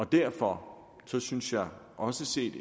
derfor synes jeg også set